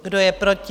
Kdo je proti?